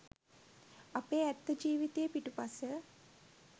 අපේ ඇත්ත ජීවිතයේ පිටුපස